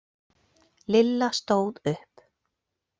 Lilla stóð upp.